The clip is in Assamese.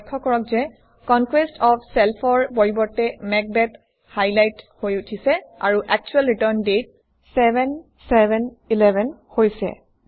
লক্ষ্য কৰক যে কনকোয়েষ্ট অফ Self অৰ পৰিৱৰ্তে মেকবেথ হাইলাইটেড হৈ উঠিছে আৰু একচুৱেল ৰিটাৰ্ণ দাঁতে 7711 হৈছে